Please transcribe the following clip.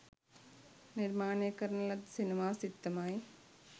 නිර්මාණය කරන ලද සිනමා සිත්තමයි